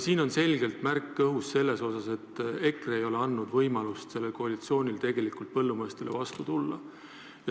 Siin on õhus selge märk sellest, et EKRE ei ole andnud sellele koalitsioonile võimalust põllumeestele vastu tulla.